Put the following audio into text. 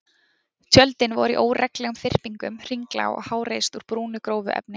Tjöldin voru í óreglulegum þyrpingum, hringlaga og háreist úr brúnu, grófu efni.